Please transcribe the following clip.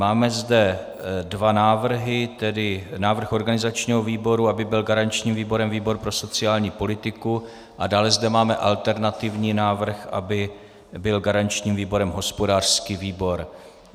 Máme zde dva návrhy, tedy návrh organizačního výboru, aby byl garančním výborem výbor pro sociální politiku, a dále zde máme alternativní návrh, aby byl garančním výborem hospodářský výbor.